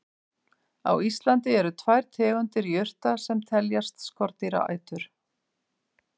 Á Íslandi eru tvær tegundir jurta sem teljast skordýraætur.